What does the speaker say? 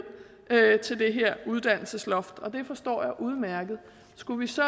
til det her uddannelsesloft og det forstår jeg udmærket skulle vi så